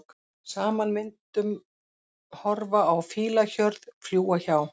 Saman myndum horfa á fílahjörð, fljúga hjá.